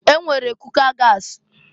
E nwere kuka gasị.